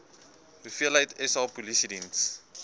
hoeveel sa polisiediens